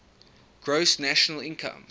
gross national income